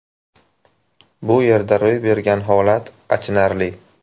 Bu yerda ro‘y bergan holat achinarli.